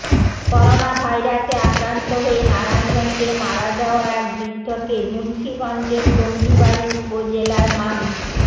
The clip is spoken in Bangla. করোনাভাইরাসে আক্রান্ত হয়ে নারায়ণগঞ্জে মারা যাওয়া এক বৃদ্ধকে মুন্সিগঞ্জের টঙ্গীবাড়ি উপজেলার মান্দ্